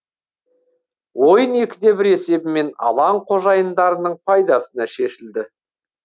ойын екіде бір есебімен алаң қожайындарының пайдасына шешілді